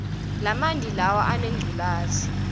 lamanti lawa aneludzaka